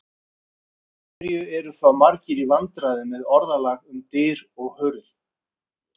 En af hverju eru þá margir í vandræðum með orðalag um dyr og hurð?